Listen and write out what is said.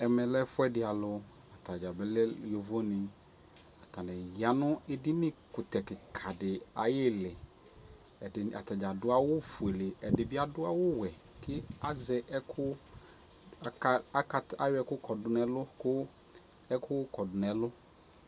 ɛmɛ lɛ ɛƒʋɛdi alʋ atagya bi lɛ yɔvɔ ni, atani yanʋ ɛdini ɛkʋtɛ kikaa di ayili, atagya adʋ awʋ ƒʋɛ, ɛdi bi adʋ awʋ wɛ, ɛdibi azɛ ɛkʋ ,ayɔ ɛkʋ kɔdʋ nʋ ɛlʋ kʋ kʋ ɛkʋ kɔdʋ nʋ ɛlʋ